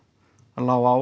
lá á